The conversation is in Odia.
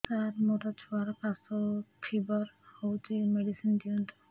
ସାର ମୋର ଛୁଆର ଖାସ ଓ ଫିବର ହଉଚି ମେଡିସିନ ଦିଅନ୍ତୁ